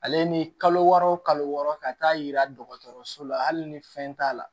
Ale ni kalo wɔɔrɔ o kalo wɔɔrɔ ka taa yira dɔgɔtɔrɔso la hali ni fɛn t'a la